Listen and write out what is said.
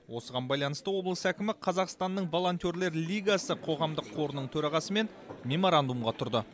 осыған байланысты облыс әкімі қазақстанның волонтерлер лигасы қоғамдық қорының төрағасымен меморандумға тұрды